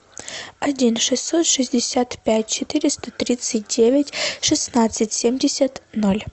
один шестьсот шестьдесят пять четыреста тридцать девять шестнадцать семьдесят ноль